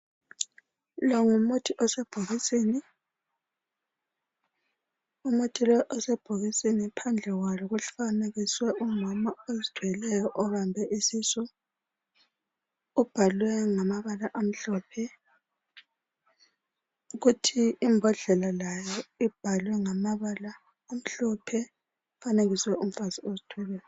lowo ngumuthi osebhokisini umuthi lowo osebhokisini phandle kwayo kufanekisiwe umama ozithweleyo obambe isisu ubhalwe ngama bala amhlophe futhi imbodlela layo ibhalwe ngamabala amhlophe ifanekiswe umfazi ozithweleyo